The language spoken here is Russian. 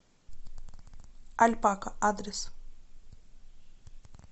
альпака адрес